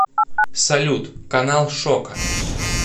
салют канал шока